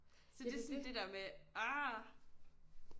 Så det er sådan det der med argh